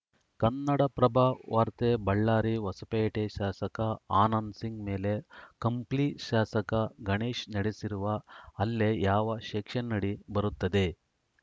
ಕನ್ನಡಪ್ರಭವಾರ್ತೆ ಬಳ್ಳಾರಿ ಹೊಸಪೇಟೆ ಶಾಸಕ ಆನಂದಸಿಂಗ್‌ ಮೇಲೆ ಕಂಪ್ಲಿ ಶಾಸಕ ಗಣೇಶ್‌ ನಡೆಸಿರುವ ಹಲ್ಲೆ ಯಾವ ಸೆಕ್ಷನ್‌ ಅಡಿ ಬರುತ್ತದೆ